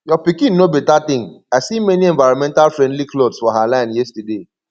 your pikin know beta thing i see many environmental friendly cloths for her line yesterday